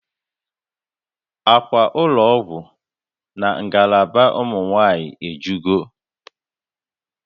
Akwa ụlọ ọgwụ na ngalaba ụmụ nwanyị ejugo